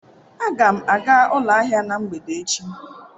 Aga m aga ụlọ ahịa na mgbede echi.